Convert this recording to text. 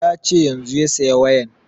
Ya ce yanzun ya saya wayan